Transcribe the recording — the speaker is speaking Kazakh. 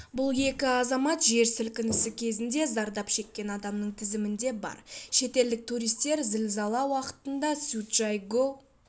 бұл екі азамат жер сілкінісі кезінде зардап шеккен адамның тізімінде бар шетелдік туристер зілзала уақытында цзючжайгоу